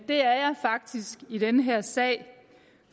faktisk i den her sag